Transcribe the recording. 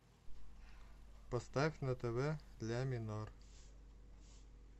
поставь на тв ля минор